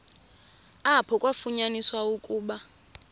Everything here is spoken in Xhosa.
apho kwafunyaniswa ukuba